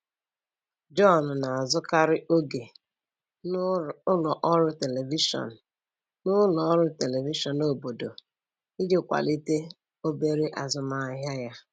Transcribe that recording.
John na-azụkarị oge n'ụlọ ọrụ telivishọn n'ụlọ ọrụ telivishọn obodo iji kwalite obere azụmahịa ya.